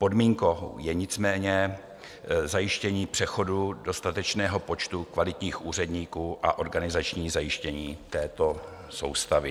Podmínkou je nicméně zajištění přechodu dostatečného počtu kvalitních úředníků a organizační zajištění této soustavy.